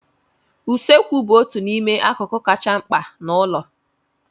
Usekwụ bụ otu n'ime akụkụ kachasị mkpa n'ụlọ.